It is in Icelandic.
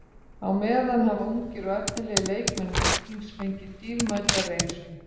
Á meðan hafa ungir og efnilegir leikmenn Víkings fengið dýrmæta reynslu.